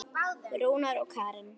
Rúnar og Karen.